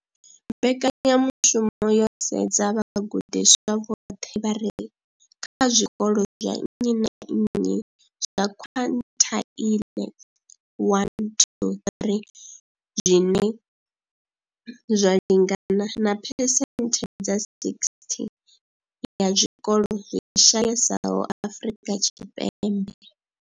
Mbekanya mushumo yo sedza vhagudiswa vhoṱhe vha re kha zwikolo zwa nnyi na nnyi zwa quintile 1-3, zwine zwa lingana na phesenthe dza 60 ya zwikolo zwi shayesaho Afrika Tshipembe.